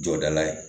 Jɔda ye